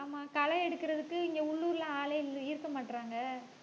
ஆமா களை எடுக்கறதுக்கு, இங்க உள்ளூர்ல ஆளே இல்~ இருக்க மாட்டறாங்க.